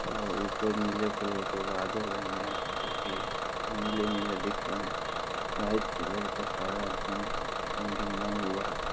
और ऊपर नीले कलर के बादल हैं। यहाँ पे भी नीले-नीले दिख रहे हैं। व्हाइट कलर का सारा एकदम रंगीनमय हुआ है।